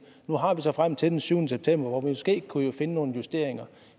nu har vi så tiden frem til den syvende september hvor vi måske kunne finde nogle justeringer